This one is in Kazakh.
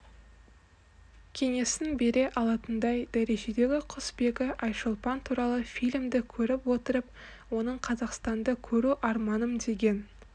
кеңесін бере алатындай дәрежедегі құсбегі айшолпан туралы фильмді көріп отырып оның қазақстанды көру арманым деген